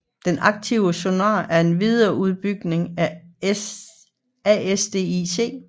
Den aktive sonar er en videreudbygning af ASDIC